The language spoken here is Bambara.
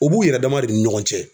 U b'u yɛrɛ dama de ni ɲɔgɔn cɛ